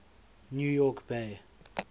new york bay